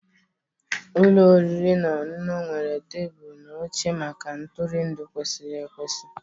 Ụlọ oriri na ọṅụṅụ nwere tebụl na oche maka ntụrụndụ kwesịrị ekwesị